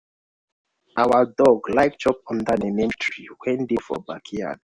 our dog like chop under di neem tree wen dey for backyard.